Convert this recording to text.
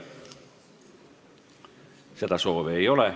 Seda soovi ei ole.